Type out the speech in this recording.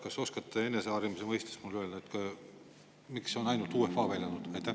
Kas oskate mulle minu eneseharimise huvides öelda, miks on ainult UEFA välja toodud?